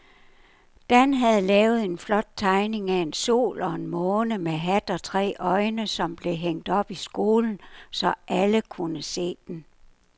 Dan havde lavet en flot tegning af en sol og en måne med hat og tre øjne, som blev hængt op i skolen, så alle kunne se den.